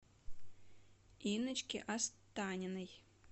инночке останиной